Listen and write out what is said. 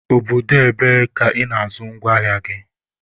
Obodo ebee ka Ị na-azụ ngwa ahịa gị?